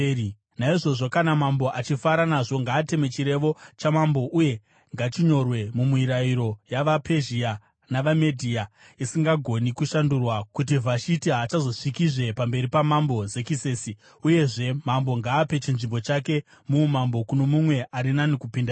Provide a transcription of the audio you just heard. “Naizvozvo, kana mambo achifara nazvo, ngaateme chirevo chamambo uye ngachinyorwe mumirayiro yavaPezhia navaMedhia, isingagoni kushandurwa kuti Vhashiti haachazosvikizve pamberi paMambo Zekisesi. Uyezve mambo ngaape chinzvimbo chake muumambo kuno mumwe ari nani kupinda iye.